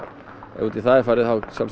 ef út í það er farið